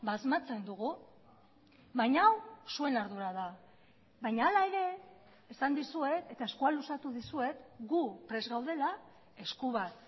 asmatzen dugu baina hau zuen ardura da baina hala ere esan dizuet eta eskua luzatu dizuet gu prest gaudela esku bat